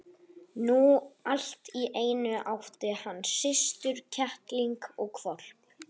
Nú allt í einu átti hann systur, kettling og hvolp.